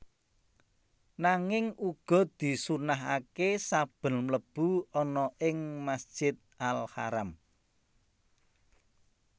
Nanging uga disunnahaké saben mlebu ana ing Masjid Al Haram